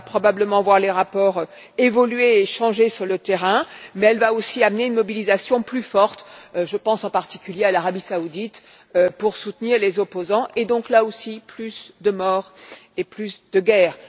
Elle va probablement voir les rapports évoluer et changer sur le terrain, mais elle va aussi occasionner une mobilisation plus forte je pense en particulier à l'Arabie saoudite pour soutenir les opposants et, par conséquent, là aussi, plus de morts et plus de guerre.